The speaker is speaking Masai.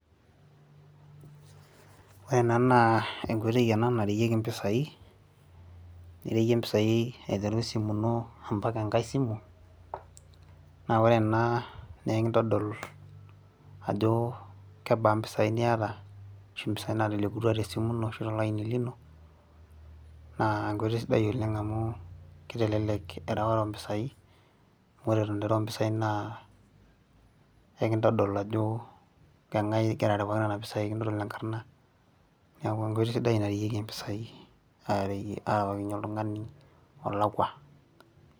wore ena naa enkoitoi ena nareyieki impisai nireyie impisai aiteru esimu ino ampaka enkae simu naa ore ena nekintodol ajo kebaa mpisai niata ashu impisai natelekutua tesimu ino ashu tolaini lino naa enkoitoi sidai oleng amu kitelelek ereware ompisai amu ore eton itu irew impisai naa ekintodol ajo keng'ae igira arewaki nana pisai kintodol enkarrna niaku enkoitoi sidai nareyieki impisai areyie arewakinyie oltung'ani olakua.